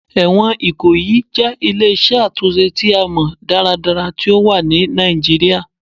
Ẹwọn Ikoyi jẹ ile-iṣẹ atunṣe ti a mọ daradara ti o wa ni Nigeria